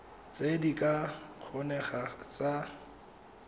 tse di ka kgonegang tsa